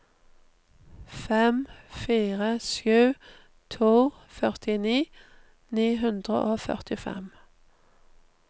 fem fire sju to førtini ni hundre og førtifem